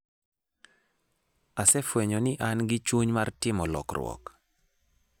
Asefwenyo ni an gi chuny mar timo lokruok.